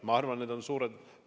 Ma arvan, et need on suured ...